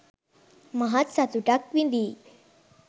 මහත් සතුටක් විඳීයි.